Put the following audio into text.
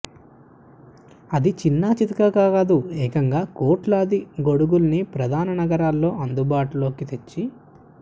అది చిన్నా చితకాగా కాదు ఏకంగా కోట్లాది గొడుగుల్ని ప్రధాన నగరాల్లో అందుబాటులోకి తెచ్చి